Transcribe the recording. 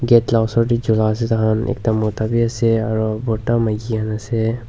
gate la osor tae jolai ase tahan ekta mota biase aro brota maki khan ase.